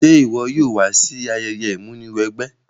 Se wo yóò wa si ayẹyẹ ìmúniwẹgbẹ́?